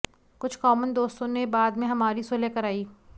कुछ कॉमन दोस्तों ने बाद में हमारी सुलह कराई